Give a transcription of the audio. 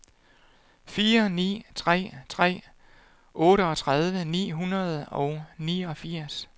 fire ni tre tre otteogtredive ni hundrede og niogfirs